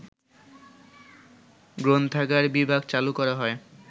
গ্রন্থাগার বিভাগ চালু করা হয়